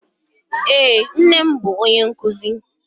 Eé, nne m bụ onye nkụzi.